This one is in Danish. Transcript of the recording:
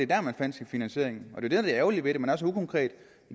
der man fandt sin finansiering og det der er det ærgerlige ved det man er så ukonkret